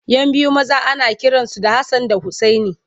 Yan biyu maza ana kiransu da Hassan da Usaini.